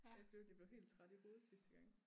Jeg det blev helt træt i hovedet sidste gang